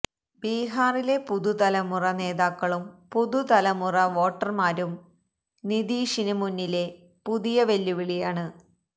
ബിഹാറിലെ പുതു തലമുറ നേതാക്കളും പുതുതലമുറ വോട്ടര്മാരും നിതീഷിന് മുന്നിലെ പുതിയ വെല്ലുവിളിയാണ്